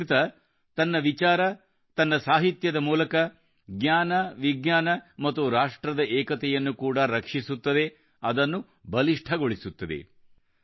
ಸಂಸ್ಕೃತ ತನ್ನ ವಿಚಾರ ತನ್ನ ಸಾಹಿತ್ಯದ ಮೂಲಕ ಜ್ಞಾನ ವಿಜ್ಞಾನ ಮತ್ತು ರಾಷ್ಟ್ರದ ಏಕತೆಯನ್ನು ಕೂಡಾ ರಕ್ಷಿಸುತ್ತದೆ ಅದನ್ನು ಬಲಿಷ್ಠಗೊಳಿಸುತ್ತದೆ